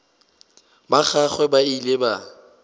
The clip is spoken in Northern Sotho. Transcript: ba gagwe ba ile ba